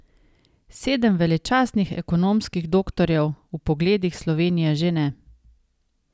Sedem veličastnih ekonomskih doktorjev v Pogledih Slovenije že ne.